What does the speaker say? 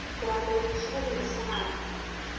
ke rapela bošego le mosegare